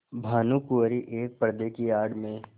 भानुकुँवरि एक पर्दे की आड़ में